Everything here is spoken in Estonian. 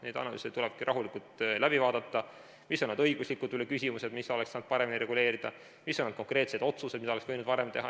Need analüüsid tuleb rahulikult läbi vaadata, et näha, mis on õiguslikud küsimused, mida oleks saanud paremini reguleerida, mis on konkreetsed otsused, mida oleks võinud varem teha.